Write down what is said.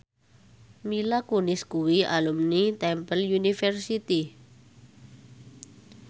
Mila Kunis kuwi alumni Temple University